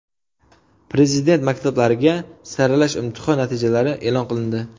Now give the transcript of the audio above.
Prezident maktablariga saralash imtihon natijalari e’lon qilindi.